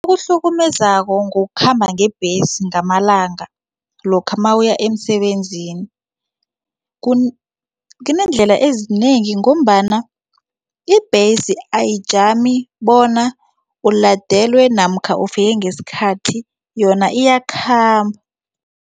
Okuhlukumezako ngokukhamba ngebhesi ngamalanga lokha nawuya emsebenzini kuneendlela ezinengi ngombana ibhesi ayijami bona ulandelwe namkha ufike ngesikhathi yona iyakhamba.